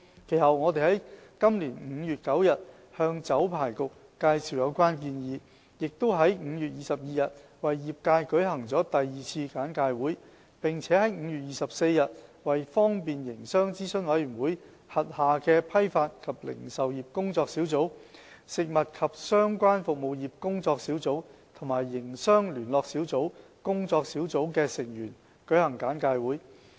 其後，我們在今年5月9日向酒牌局介紹有關建議，於5月22日為業界舉行了第二次簡介會，並於5月24日為方便營商諮詢委員會轄下的批發及零售業工作小組、食物及相關服務業工作小組和營商聯絡小組工作小組的成員，舉行簡介會。